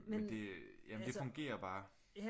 Men jamen det fungerer bare